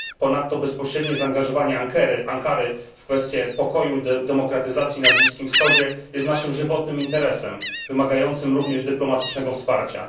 Ponadto bezpośrednie zaangażowanie Ankary w kwestie pokoju i demokratyzacji na Bliskim Wschodzie jest naszym żywotnym interesem, wymagającym również dyplomatycznego wsparcia.